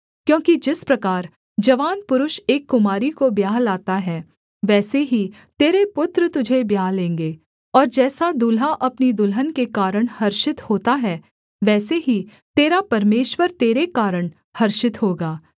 क्योंकि जिस प्रकार जवान पुरुष एक कुमारी को ब्याह लाता है वैसे ही तेरे पुत्र तुझे ब्याह लेंगे और जैसे दुल्हा अपनी दुल्हन के कारण हर्षित होता है वैसे ही तेरा परमेश्वर तेरे कारण हर्षित होगा